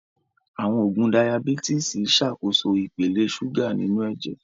Àwọn oògùn Dayabítìsì Ṣàkóso ipele ṣúgà inú ẹ̀jẹ̀